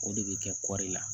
O de bɛ kɛ kɔri la